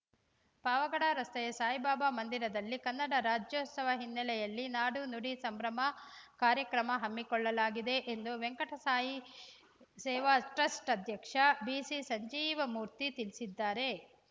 ಪಾವಗಡ ರಸ್ತೆಯ ಸಾಯಿಬಾಬಾ ಮಂದಿರದಲ್ಲಿ ಕನ್ನಡ ರಾಜ್ಯೋತ್ಸವ ಹಿನ್ನೆಲೆಯಲ್ಲಿ ನಾಡು ನುಡಿ ಸಂಭ್ರಮ ಕಾರ್ಯಕ್ರಮ ಹಮ್ಮಿಕೊಳ್ಳಲಾಗಿದೆ ಎಂದು ವೆಂಕಟಸಾಯಿ ಸೇವಾ ಟ್ರಸ್ಟ್‌ ಅಧ್ಯಕ್ಷ ಬಿಸಿಸಂಜೀವಮೂರ್ತಿ ತಿಳಿಸಿದ್ದಾರೆ